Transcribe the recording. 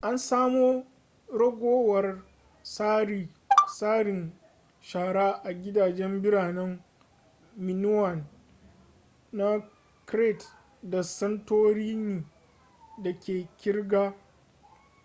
an samo ragowar tsarin shara a gidajen biranen minoan na crete da santorini da ke girka